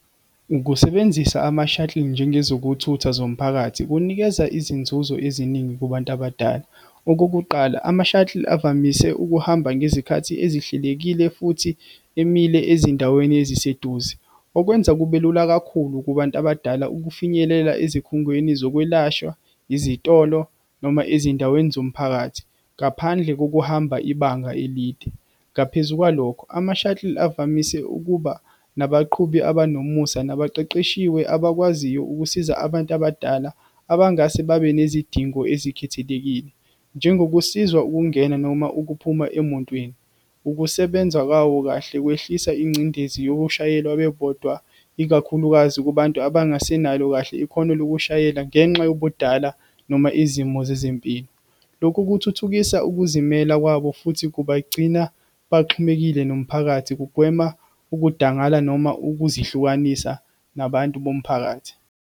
Ukusebenzisa ama-shuttle, njengezokuthutha zomphakathi, kunikeza izinzuzo eziningi kubantu abadala. Okokuqala, ama-shuttle avamise ukuhamba ngezikhathi ezihlelekile, futhi emile ezindaweni eziseduze, okwenza kube lula kakhulu kubantu abadala ukufinyelela ezikhungweni zokwelashwa, izitolo, noma ezindaweni zomphakathi, ngaphandle kokuhamba ibanga elide. Ngaphezu kwalokho, ama-shuttle avamise ukuba nabaqhubi abanomusa, nabaqeqeshiwe, abakwaziyo ukusiza abantu abadala abangase babe nezidingo ezikhethelekile, njengokusizwa ukungena noma ukuphuma emontweni. Ukusebenza kwawo kahle, kwehlisa ingcindezi yokushayelwa bebodwa, ikakhulukazi kubantu abangasenalo kahle ikhono lokushayela, ngenxa yobudala, noma izimo zezempilo. Lokhu kuthuthukisa ukuzimela kwabo, futhi kubagcina baxhumekile nomphakathi, kugwema ukudangala, noma ukuzihlukanisa nabantu bomphakathi.